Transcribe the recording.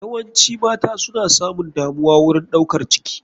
Yawaci mata suna samun damuwa wurin ɗaukar ciki.